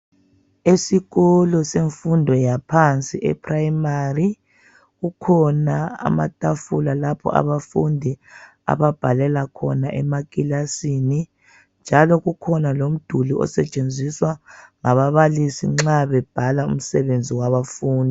Esikolo semfundo yaphansi ephuremari kukhona amatafula lapho abafundi ababhalela khona emakilasini njalo kukhona lomduli osetshenziswa ngababalisi nxa bebhala umsebenzi wabafundi.